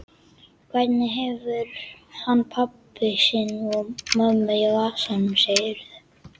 Hvernig hefur hann pabba sinn og mömmu í vasanum, segirðu?